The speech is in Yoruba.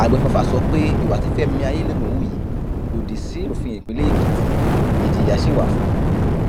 àgbẹfọfà sọ pé ìwà tí fẹmi ayẹlẹgùn hù yìí lòdì síwèé òfin ìpínlẹ èkìtì ìjìyà sì wà fún un